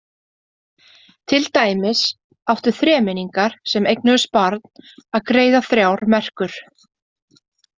Til dæmis áttu þremenningar sem eignuðust barn að greiða þrjár merkur.